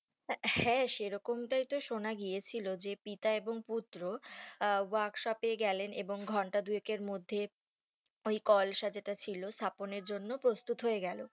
হ্যাঁ সেরকম ই তো সোনা গেয়েছিল যে পিতা এবং পুত্র আহ work shop এ গেলেন এবং ঘন্টা দু এক এর মধ্যে ওই কলসা যেটা ছিল স্থাপন এর জন্য প্রস্তুত হয়ে গেলো